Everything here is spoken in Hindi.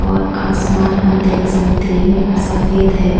और आसमान हम देख सकते हैं सफेद है।